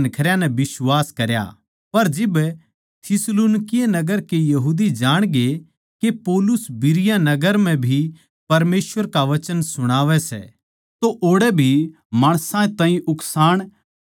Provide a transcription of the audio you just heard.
पर जिब थिस्सलुनीके नगर के यहूदी जाणगे के पौलुस बिरीया नगर म्ह भी परमेसवर का वचन सुणावै सै तो ओड़ै भी माणसां ताहीं उकसाण अर गड़बड़ मचाण लाग्गे